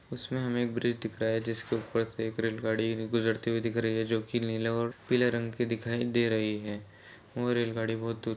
उसमें हमें एक ब्रिज दिख रहा है जिसके ऊपर से एक रेलगाड़ी रे- गुजरते हुए दिख रही है जो कि नीले और पीले रंग की दिखाई दे रही है और रेलगाड़ी बहुत --